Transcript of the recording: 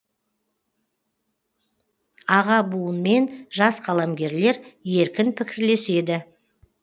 аға буын мен жас қаламгерлер еркін пікірлеседі